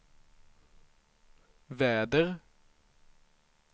väder